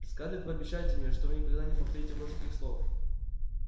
скарлетт пообещайте мне что вы никогда не повторите больше таких слов